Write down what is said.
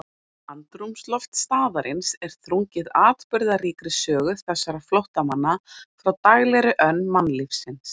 Andrúmsloft staðarins er þrungið atburðaríkri sögu þessara flóttamanna frá daglegri önn mannlífsins.